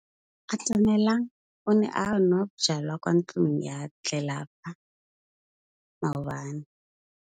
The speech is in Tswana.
Atamelang o ne a nwa bojwala kwa ntlong ya tlelapa maobane.